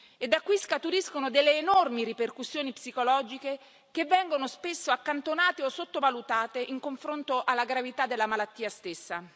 e da cui scaturiscono delle enormi ripercussioni psicologiche che vengono spesso accantonate o sottovalutate in confronto alla gravità della malattia stessa.